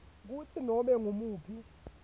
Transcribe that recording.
kutsi nobe ngumuphi